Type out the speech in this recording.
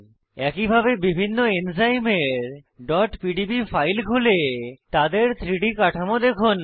একইভাবে বিভিন্ন এনজাইমের pdb ফাইল খুলে তাদের 3ডি কাঠামো দেখুন